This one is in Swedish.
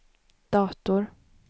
dator